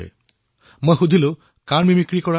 মই এনেই সুধিলো যে আপুনি কাৰ মিমিক্ৰি কৰে